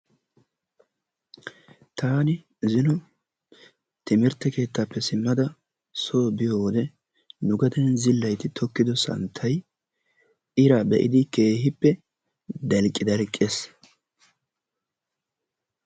Taani zino timirtte keettaappe simmada nu gaden zillaytti tokkido santtay iraa be'idi keehippe dalqqi dalqqes.